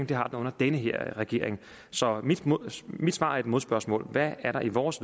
det har den under den her regering så mit svar er et modspørgsmål hvad er der i vores